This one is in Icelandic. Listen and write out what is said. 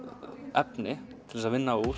efni til þess að vinna úr